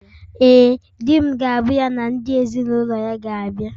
Ee, di m ga-abụ ya na ndị ezinụlọ ya ga-abịa